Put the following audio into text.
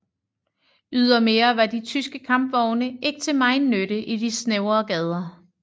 Ydermere var de tyske kampvogne ikke til megen nytte i de snævre gader